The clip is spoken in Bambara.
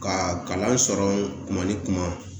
Ka kalan sɔrɔ kuma ni kuma